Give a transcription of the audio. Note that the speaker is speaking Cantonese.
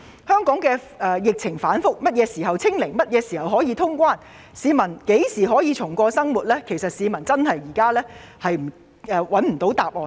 香港的疫情反覆，何時可以"清零"、何時可以通關、何時可以重過正常生活，市民均沒有答案。